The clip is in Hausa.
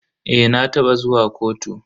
Eh, na taba zuwa kotu.